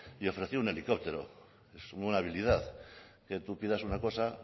y ofrecía un helicóptero es una habilidad que tú pidas una cosa